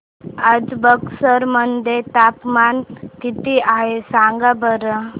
आज बक्सर मध्ये तापमान किती आहे सांगा बरं